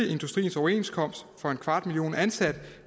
industriens overenskomst for en kvart million ansatte